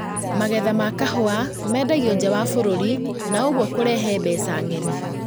Magetha ma kahũa mendangio nja wa bũrũri na ũguo kũrehe mbeca ng'eni